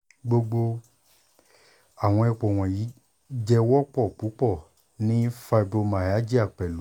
gbogbo awọn ipo wọnyi jẹ wọpọ pupọ ni fibromyalgia pẹlu